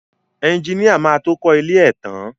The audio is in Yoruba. Ẹjiníà má tó kọ ilé ẹ tán.